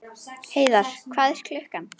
Heiðar, hvað er klukkan?